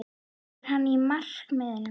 Er hann á markaðnum?